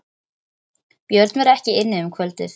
Björn var ekki inni um kvöldið.